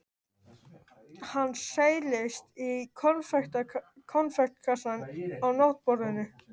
Hann seilist í konfektkassann á náttborðinu.